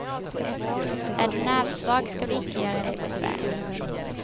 Är du nervsvag ska du icke göra dig besvär.